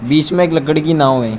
बीच में एक लकड़ी की नाव है।